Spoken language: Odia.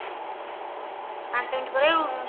ପାଞ୍ଚ minute ପରେ ଆଉ